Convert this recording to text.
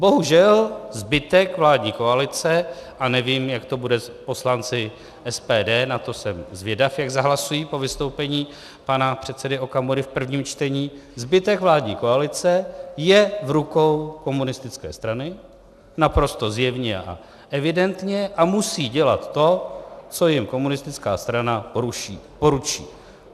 Bohužel zbytek vládní koalice - a nevím, jak to bude s poslanci SPD, na to jsem zvědav, jak zahlasují po vystoupení pan předsedy Okamury v prvním čtení - zbytek vládní koalice je v rukou komunistické strany naprosto zjevně a evidentně a musí dělat to, co jim komunistická strana poručí.